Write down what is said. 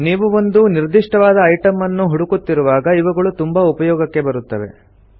ನೀವು ಒಂದು ನಿರ್ದಿಷ್ಟವಾದ ಐಟಂ ನ್ನು ಹುಡುಕುತ್ತಿರುವಾಗ ಇವುಗಳು ತುಂಬಾ ಉಪಯೋಗಕ್ಕೆ ಬರುತ್ತವೆ